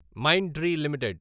Mindtree limited